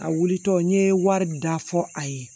A wulitɔ n ye wari da fɔ a ye